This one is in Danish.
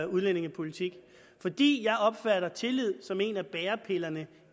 udlændingepolitik fordi jeg opfatter tillid som en af bærepillerne